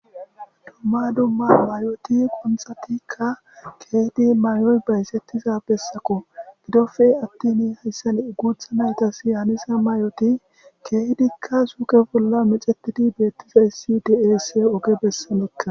Dumma dumma mayoti qonthatikka keehidi mayoy bayssettiza bessako gidofe attini hayssan uguutha naytas yaanisa mayoti keehidikka suuke bolla mexetidi beettiza issi diase oge bessamekka.